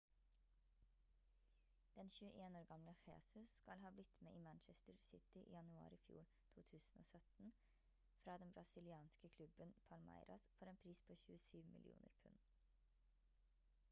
den 21 år gamle jesus skal ha blitt med i manchester city i januar i fjor 2017 fra den brasilianske klubben palmeiras for en pris på 27 millioner pund